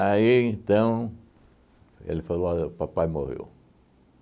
Aí, então, ele falou, olha, o papai morreu.